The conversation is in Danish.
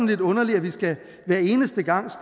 lidt underligt at vi hver eneste gang